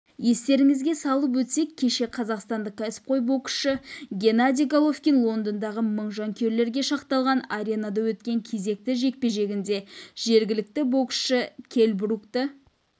естеріңізге салып өтсек кеше қазақстандық кәсіпқой боксшы геннадий головкин лондондағы мың жанкүйерге шақталған аренада өткен кезекті жекпе-жегінде жергілікті боксшы келл брукты